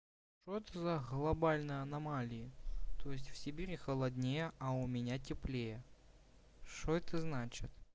что это за глобальная аномалия то есть в сибири холоднее а у меня теплее что это значит